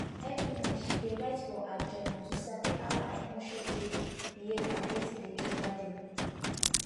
every night she dey write for her journal to sabi how her emotions dey behave and wetin dey trigger dem